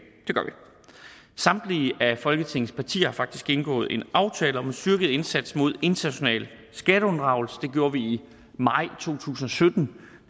samtlige af folketingets partier har faktisk indgået en aftale om en styrket indsats mod international skatteunddragelse det gjorde vi i maj to tusind og sytten